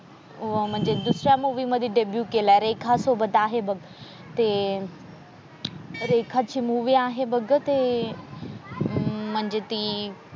अह म्हणजे दुसऱ्या मूवी मध्ये केला रेखासोबत आहे बघ ते रेखाची मूवी आहे बघ ग ते अह म्हणजे ती,